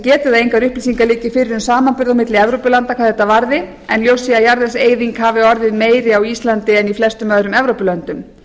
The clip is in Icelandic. að engar upplýsingar liggi fyrir um samanburð milli evrópulanda hvað þetta varði en ég hugsa að jarðvegseyðing hafi orðið meiri á íslandi en í flestum öðrum evrópulöndum